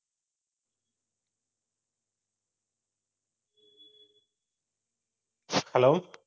hello